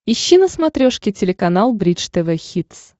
ищи на смотрешке телеканал бридж тв хитс